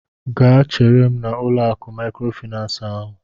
Gaa chere m n'ụlọ akụ maịkrofaịnans ahụ!